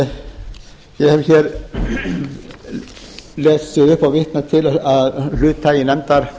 ég hef hér lesið upp og vitnað til hluta af